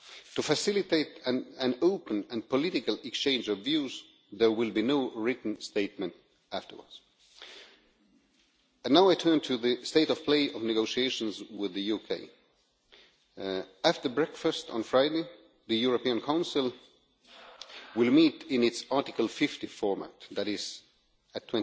To facilitate an open and political exchange of views, there will be no written statement afterwards. Now I turn to the state of play of negotiations with the UK. After breakfast on Friday, the European Council will meet in its Article 50 format, that is at